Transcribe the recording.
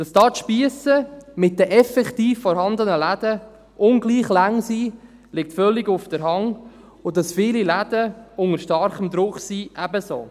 Dass hier die Spiesse mit den effektiv vorhandenen Läden ungleich lang sind, liegt völlig auf der Hand, und dass viele Läden unter starken Druck sind ebenso.